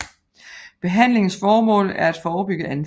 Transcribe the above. Behandlingens formål er at forebygge anfald